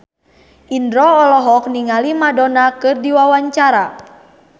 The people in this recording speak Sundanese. Indro olohok ningali Madonna keur diwawancara